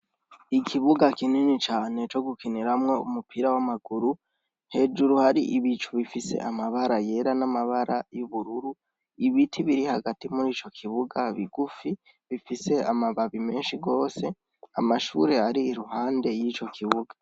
Ikibuga kinini cane co gukiniramwo umupira w'amaguru, hejuru hari ibicu bifise amabara yera n'amabara y'ubururu, ibiti biri hagati murico kibuga bigufi, bifise amababi menshi gose, amashure ari iruhande yico kibuga.